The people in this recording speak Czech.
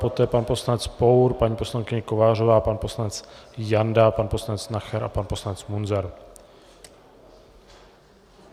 Poté pan poslanec Pour, paní poslankyně Kovářová, pan poslanec Janda, pan poslanec Nacher a pan poslanec Munzar.